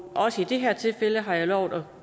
også i det her tilfælde har jeg lovet